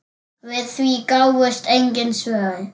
Við því gáfust engin svör.